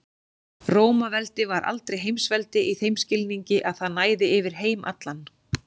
Rómaveldi var aldrei heimsveldi í þeim skilningi að það næði yfir heim allan.